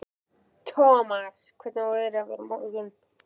Thomas, hvernig er veðrið á morgun?